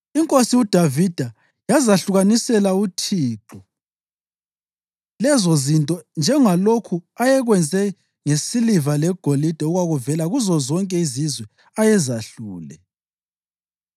Inkosi uDavida yazahlukanisela uThixo lezo zinto njengalokhu ayekwenze ngesiliva legolide okwavela kuzozonke izizwe ayezehlule: